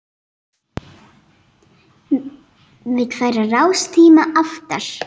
Vill færa rástíma aftar